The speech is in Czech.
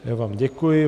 Já vám děkuji.